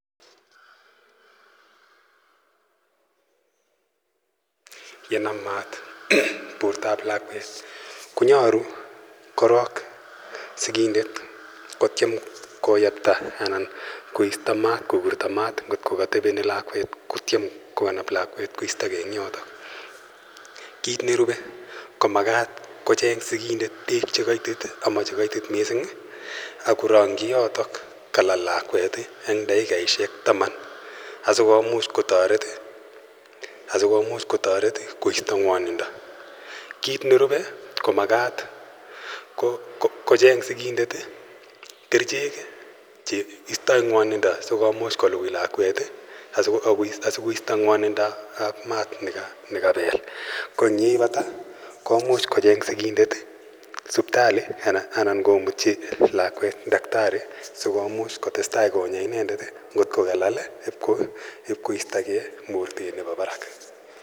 Yenam maat bortab lakwet konyolu korok kotyem kobirto maat kotko koteben lakwet koistoge en yotok. Kiit nerube ko magat kocheng' sikindet beek chemokoitit missing akorongyi yotok en takikaisiek taman aikotoret koisto ng'wonindo ,kiit nerube komagat kocheng' sikindet kerichek cheistoi ng'wonindo ak maat itya kocheng' sikindet sipitalit anan komutyi lakwet taktari sikomuch kotestai konya inendet kotkokalal.